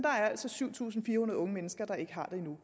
altså syv tusind fire hundrede unge mennesker der ikke har det endnu